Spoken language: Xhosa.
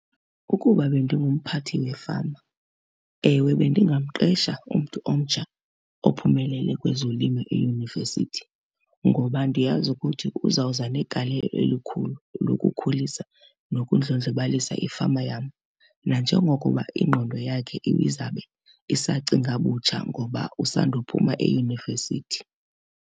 Ukuba bendingumphathi wefama ewe bendingamqesha umntu omtsha ophumelele kwezolimo eyunivesithi, ngoba ndiyazi ukuthi uzawuza negalelo elikhulu elokukhulisa nokundlondlobalisa ifama yam nanjengokuba ingqondo yakhe izabe isacinga butsha ngoba usandophuma eyunivesithi.